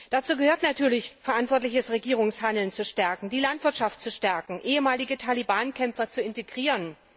Dazu gehört natürlich, verantwortliches Regierungshandeln zu stärken, die Landwirtschaft zu stärken, ehemalige Taliban Kämpfer zu integrieren.